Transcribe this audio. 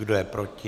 Kdo je proti?